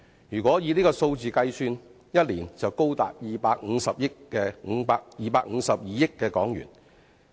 如果以這個數字推算，一年的總經濟損失便高達252億元。